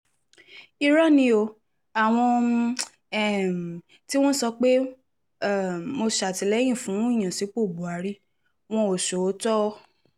irọ́ ni o àwọn um tí wọ́n ń sọ pé um mo sàtìlẹyìn fún ìyànsípò buhari wọn ò sọ òótọ́